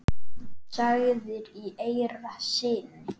sagðir í eyra syni.